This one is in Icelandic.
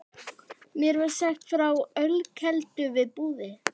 Mér var sagt frá ölkeldu við Búðir.